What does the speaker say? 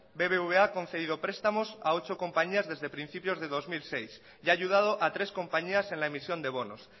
bbva ha concedido prestamos a ocho compañías desde principios del dos mil seis y ha ayudado a tres compañías en la emisión de bonos